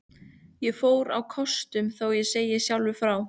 Ég fór á kostum, þó ég segi sjálfur frá.